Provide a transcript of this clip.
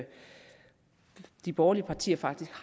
de borgerlige partier faktisk